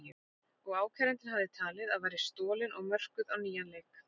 og ákærandinn hafði talið að væri stolin og mörkuð á nýjan leik.